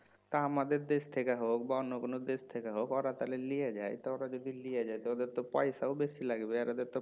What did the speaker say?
তা আমাদের দেশ থেকে হোক বা অন্য কোনো দেশ থেকে হোক ওরা তাহলে লিয়ে যায় তা ওরা যদি লিয়ে যেত ওদের তো পয়সাও বেশি লাগবে আর ওদের তো